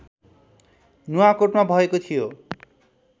नुवाकोटमा भएको थियो